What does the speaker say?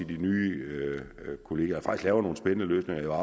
de nye kollegier laver nogle spændende løsninger jeg